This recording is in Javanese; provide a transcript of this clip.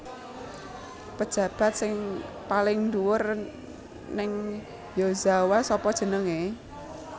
Pejabat sing paling dhuwur ning Yozawa sapa jenenge